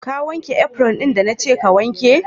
Ka wanke "apron" da na ke ka wanke?